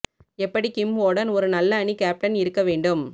எப்படி கிம் ஓடன் ஒரு நல்ல அணி கேப்டன் இருக்க வேண்டும்